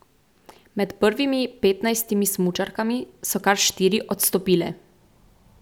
Med prvimi petnajstimi smučarkami so kar štiri odstopile.